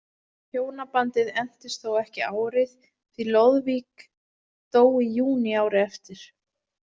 Hjónabandið entist þó ekki árið því Loðvík dó í júní árið eftir.